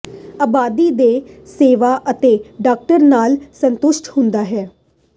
ਆਬਾਦੀ ਦੇ ਸੇਵਾ ਅਤੇ ਡਾਕਟਰ ਨਾਲ ਸੰਤੁਸ਼ਟ ਹੁੰਦਾ ਹੈ